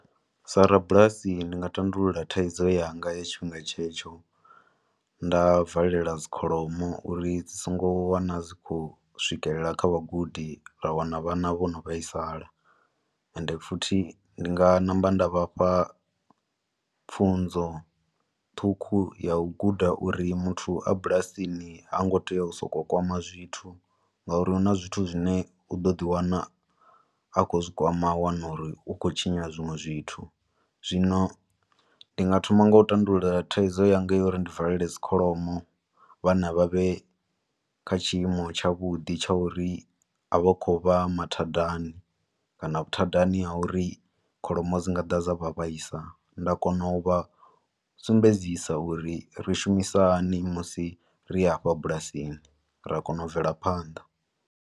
Sa rabulasi ndi nga tandulula thaidzo yanga ya tshifhinga tshetsho nda valela dzikholomo uri dzi songo wana dzi khou swikelela kha vhagudi ra wana vhana vho no vhaisala, ende futhi ndi nga ṋamba nda vhafha pfunzo ṱhukhu ya u guda uri muthu a bulasini ha ngo tea u soko kwama zwithu, nga uri hu na zwithu zwine u ḓo ḓi wana a khou zwi kwama a wana uri u khou tshinya zwinwe zwithu, zwino ndi nga thoma ngo u tandulula thaidzo yanga yo uri ndi valele dzi kholomo, vhana vha vhe kha tshiimo tsha vhudi tsha uri a vha khou vha mathadani kana vhuthadani ha uri kholomo dzi nga ḓa dza vha vhaisa, nda kona u vha sumbedzisa uri ri shumisa hani musi ri afha bulasini, ra kona u bvela phanḓa.